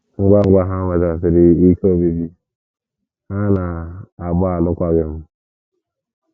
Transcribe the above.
Ngwa ngwa ha nwetasịrị ikike obibi, ha na -- agba alụkwaghịm.